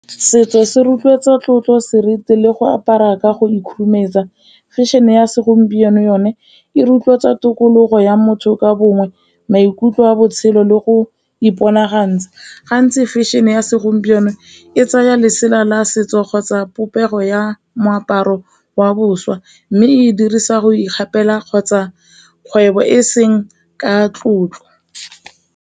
Setso se rotloetsa tlotlo, seriti le go apara ka go . Fashion-e ya segompieno yone e rotloetsa tokologo ya motho ka bongwe, maikutlo a botshelo le go iponagantsha, gantsi fashion-e ya segompieno e tsaya lesela la setso kgotsa popego ya moaparo wa boswa, mme e dirisa go ikgapela kgotsa kgwebo e seng ka tlotlo.